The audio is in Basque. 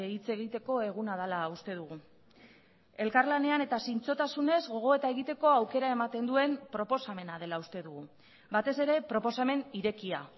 hitz egiteko eguna dela uste dugu elkarlanean eta zintzotasunez gogoeta egiteko aukera ematen duen proposamena dela uste dugu batez ere proposamen irekia